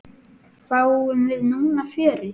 Fáum við núna fjörið?